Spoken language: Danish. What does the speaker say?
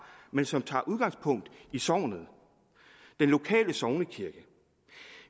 men som tager udgangspunkt i sognet den lokale sognekirke